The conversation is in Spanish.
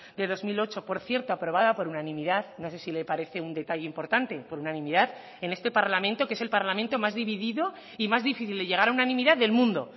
de dos mil ocho por cierto aprobada por unanimidad no sé si le parece un detalle importante por unanimidad en este parlamento que es el parlamento más dividido y más difícil de llegar a unanimidad del mundo